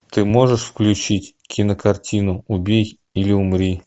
ты можешь включить кинокартину убей или умри